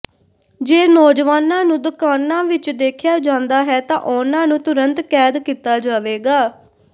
ਜੇ ਨੌਜਵਾਨਾਂ ਨੂੰ ਦੁਕਾਨਾਂ ਵਿਚ ਦੇਖਿਆ ਜਾਂਦਾ ਹੈ ਤਾਂ ਉਨ੍ਹਾਂ ਨੂੰ ਤੁਰੰਤ ਕੈਦ ਕੀਤਾ ਜਾਵੇਗਾ